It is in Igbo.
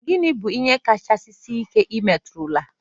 Gịnị bụ ihe nka kacha sie ike ị metụrụla?